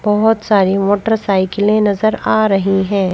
बहुत सारी मोटरसाइकिलें नजर आ रही हैं।